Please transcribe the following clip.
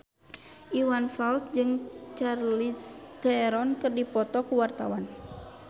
Iwan Fals jeung Charlize Theron keur dipoto ku wartawan